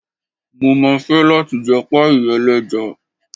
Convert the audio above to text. Mo máa fẹ́ láti jẹ páíì ẹlẹ́ja.